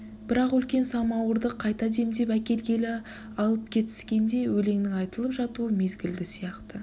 бірақ үлкен самауырды қайта демдеп әкелгелі алып кетіскенде өлеңнің айтылып жатуы мезгілді сияқты